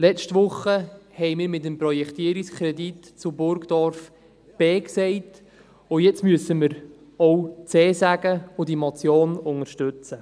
Letzte Woche haben wir mit dem Projektierungskredit zu Burgdorf B gesagt, und jetzt müssen wir auch C sagen und diese Motion unterstützen.